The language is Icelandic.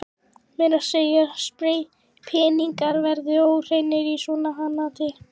Meira að segja peningar verða óhreinir í svona hanaati.